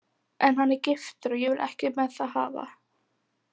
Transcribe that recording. En hann er giftur og ég vil ekkert með það hafa